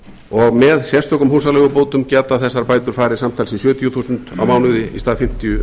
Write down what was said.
og með sérstökum húsaleigubótum geta þessar bætur farið samtals í sjötíu þúsund á mánuði í stað fimmtíu